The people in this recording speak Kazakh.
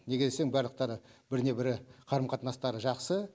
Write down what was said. неге десең барлықтары біріне бірі қарым қатынастары жақсы